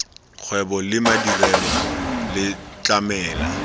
kgwebo le madirelo le tlamela